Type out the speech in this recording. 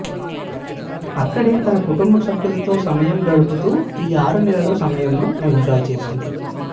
అక్కడే తన కుటుంబ సభ్యులతో సమయం గడుపుతూ ఈ ఆరు నెలల సమయంను ఎంజాయ్ చేసింది